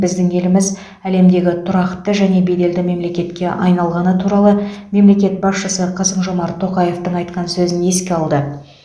біздің еліміз әлемдегі тұрақты және беделді мемлекетке айналғаны туралы мемлекет басшысы қасым жомарт тоқаевтың айтқан сөзін еске алды